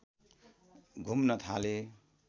घुम्न थाले